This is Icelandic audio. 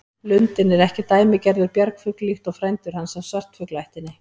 Lundinn er ekki dæmigerður bjargfugl líkt og frændur hans af svartfuglaættinni.